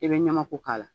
I bɛ ɲamako k'a la